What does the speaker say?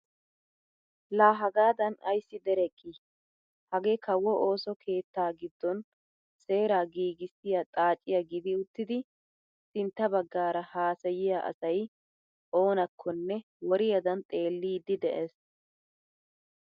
Laa hagaadan ayssi dereqii! hagee kawo ooso keettaa giddon seeraa nagissiyaa xaaciyaa gidi uttidi sintta baggaara haasayiyaa asay oonakkonne woriyaadan xeellidi de'ees.